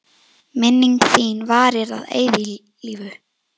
Minning þín varir að eilífu.